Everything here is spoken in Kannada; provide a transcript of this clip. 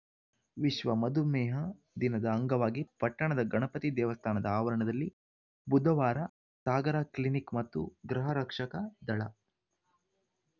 ವಿಶ್ವ ಮಧುಮೇಹ ದಿನದ ಅಂಗವಾಗಿ ಪಟ್ಟಣದ ಗಣಪತಿ ದೇವಸ್ಥಾನದ ಆವರಣದಲ್ಲಿ ಬುಧವಾರ ಸಾಗರ ಕ್ಲಿನಿಕ್‌ ಮತ್ತು ಗೃಹರಕ್ಷಕ ದಳ